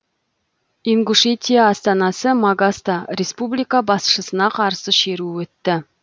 ингушетия астанасы магаста республика басшысына қарсы шеру өтті